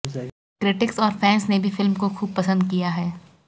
critics और fans ने भी फिल्म को खूब पसंद किया है